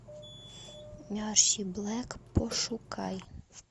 мерси блэк пошукай